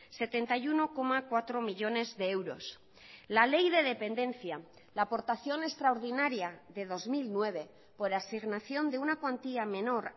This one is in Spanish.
setenta y uno coma cuatro millónes de euros la ley de dependencia la aportación extraordinaria de dos mil nueve por asignación de una cuantía menor